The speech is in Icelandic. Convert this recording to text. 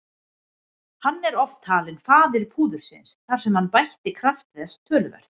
Hann er oft talinn faðir púðursins þar sem hann bætti kraft þess töluvert.